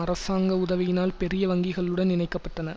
அரசாங்க உதவியினால் பெரிய வங்கிகளுடன் இணைக்கப்பட்டன